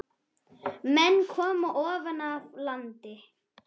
Menn komu ofan af landi.